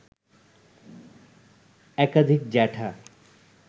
একাধিক জ্যাঠা